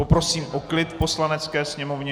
Poprosím o klid v Poslanecké sněmovně.